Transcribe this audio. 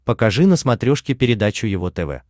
покажи на смотрешке передачу его тв